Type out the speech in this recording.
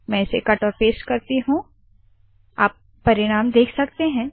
I will cut this paste in the Scilab console hit enter आप परिणाम देख सकते है